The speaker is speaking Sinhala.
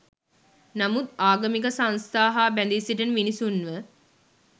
නමුත් ආගමික සංස්ථා හා බැඳී සිටින මිනිස්සුන්ව